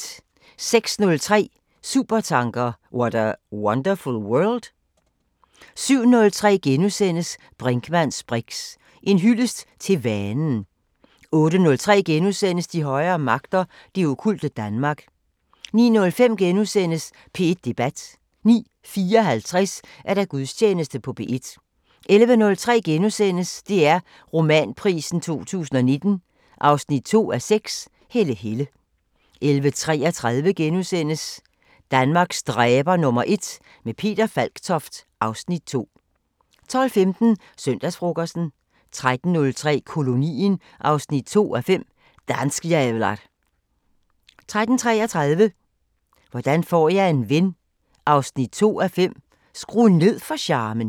06:03: Supertanker: What a wonderful world? 07:03: Brinkmanns briks: En hyldest til vanen * 08:03: De højere magter: Det okkulte Danmark * 09:05: P1 Debat * 09:54: Gudstjeneste på P1 11:03: DR Romanprisen 2019 2:6 – Helle Helle * 11:33: Danmarks dræber #1 – med Peter Falktoft (Afs. 2)* 12:15: Søndagsfrokosten 13:03: Kolonien 2:5 – Danskjävlar 13:33: Hvordan får jeg en ven 2:5 – Skru ned for charmen